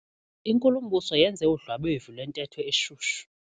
Inkulumbuso yenze udlwabevu lwentetho eshushu.